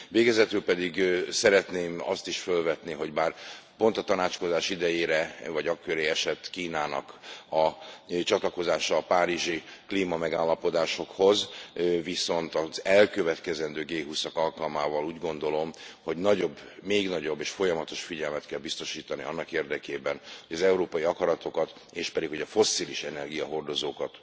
Végezetül pedig szeretném azt is fölvetni, hogy bár pont a tanácskozás idejére vagy a köré esett Kínának a csatlakozása a párizsi klímamegállapodásokhoz, az elkövetkezendő G20 ak alkalmával úgy gondolom nagyobb, még nagyobb és folyamatos figyelmet kell biztosítani annak érdekében, hogy az európai akaratokat miszerint a fosszilis energiahordozókat,